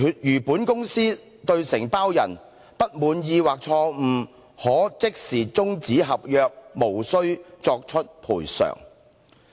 如本公司()對承包人，不滿意或錯誤可即時終止合約，無須作出賠償。